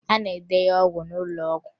A na-edenye ọgwụ n'ụlọ ọgwụ